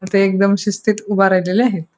आता इथे एकदम शिस्तीत उभा राहिलेले आहेत.